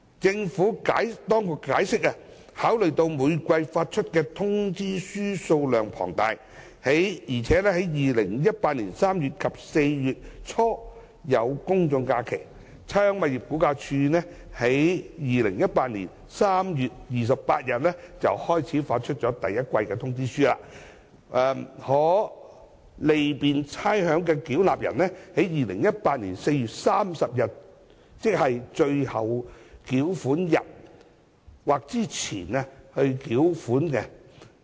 政府當局解釋，考慮到每季發出的通知書數量龐大，而且在2018年3月底及4月初有公眾假期，差餉物業估價署在2018年3月28日開始發出第一季通知書，可利便差餉繳納人在2018年4月30日或之前繳款。